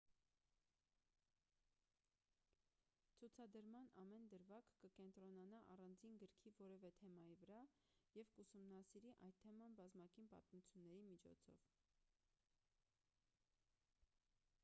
ցուցադրման ամեն դրվագ կկենտրոնանա առանձին գրքի որևէ թեմայի վրա և կուսումնասիրի այդ թեման բազմակի պատմությունների միջոցով